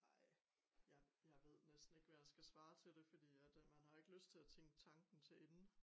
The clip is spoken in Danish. Ej jeg jeg ved næsten ikke hvad jeg skal svare til det fordi at øh man har jo ikke lyst til at tænke tanken til ende